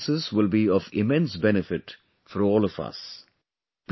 Her experiences will be of immense benefit for all of us